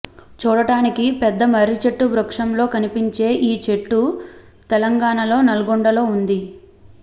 చూడటానికి పెద్ద మర్రిచెట్టు వృక్షంలో కనిపించే ఈ చెట్టు తెలంగాణలోని నల్గొండలో వుంది